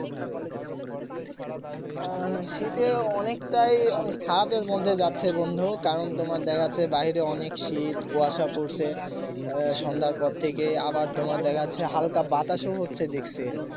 আহ শীতে অনেকটাই খারাপের মধ্যে যাচ্ছে বন্ধু কারণ তোমার দেখাচ্ছে বাহিরে অনেক শীত কুয়াশা পড়ছে সন্ধ্যার পর থেকে আবার তোমার দেখা যাচ্ছে হালকা বাতাসও হচ্ছে দেখছি।